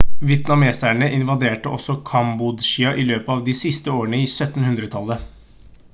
vietnameserne invaderte også kambodsja i løpet av de siste årene av 1700-tallet